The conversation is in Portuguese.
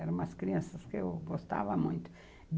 Eram umas crianças que eu gostava muito.